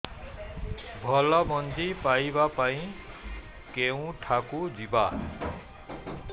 ଭଲ ମଞ୍ଜି ପାଇବା ପାଇଁ କେଉଁଠାକୁ ଯିବା